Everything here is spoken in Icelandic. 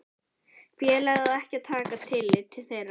félagið á ekki að taka tillit til þeirra.